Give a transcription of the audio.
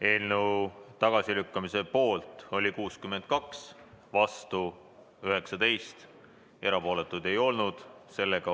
Eelnõu tagasilükkamise poolt oli 62 Riigikogu liiget, vastu 19, erapooletuid ei olnud.